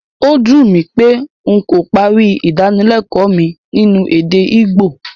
Ó dùn mí pé n kò parí Ìdánilẹ́kọ̀ọ́ mi nínú èdè Ìgbò